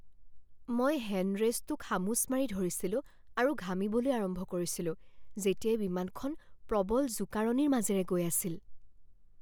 মই হেণ্ড ৰেষ্টটো খামোচ মাৰি ধৰিছিলো আৰু ঘামিবলৈ আৰম্ভ কৰিছিলো যেতিয়া বিমানখন প্ৰবল জোকাৰণিৰ মাজেৰে গৈ আছিল।